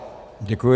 Děkuji.